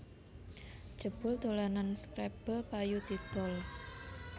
Jebul dolanan scrabble payu didol